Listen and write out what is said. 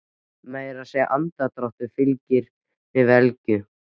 Meira að segja andardráttur þeirra fyllir mig velgju.